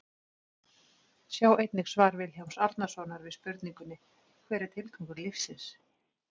Sjá einnig svar Vilhjálms Árnasonar við spurningunni Hver er tilgangur lífsins?